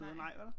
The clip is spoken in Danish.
Nej vel